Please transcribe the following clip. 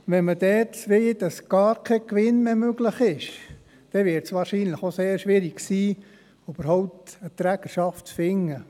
Wenn wir wollen, dass gar kein Gewinn mehr möglich ist, dann wird es wahrscheinlich sehr schwierig sein, überhaupt eine Trägerschaft zu finden.